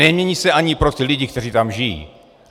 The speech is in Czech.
Nemění se ani pro ty lidi, kteří tam žijí.